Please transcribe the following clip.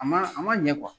A man a man ɲɛ